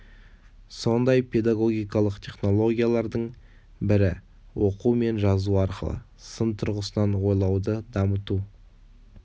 сондай педагогикалық технологиялардың бірі оқу мен жазу арқылы сын тұрғысынан ойлауды дамыту